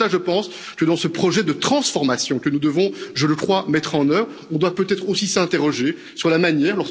C'est en cela, je pense, que, dans ce projet de transformation, que nous devons, je le crois, mettre en œuvre, nous devons peut être aussi nous interroger sur la manière.